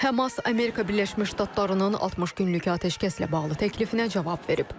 Həmas Amerika Birləşmiş Ştatlarının 60 günlük atəşkəslə bağlı təklifinə cavab verib.